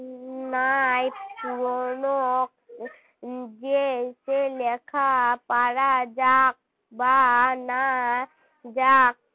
নাই পুরানো যে সে লেখা পড়া যাক বা না যাক